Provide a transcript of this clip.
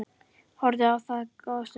Horfði á það góða stund.